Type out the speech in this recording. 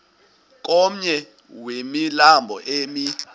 komnye wemilambo emi